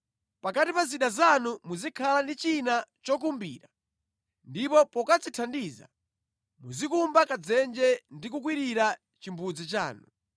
Pakati pa zida zanu muzikhala ndi china chokumbira, ndipo pokadzithandiza muzikumba kadzenje ndi kukwirira chimbudzi chanu.